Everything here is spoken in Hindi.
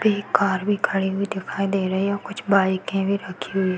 पे कार भी खड़ी हुई दिखाई दे रही है और कुछ बाइके भी रखी हुई --